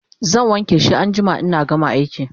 zan wanke shi anjima inna gama aiki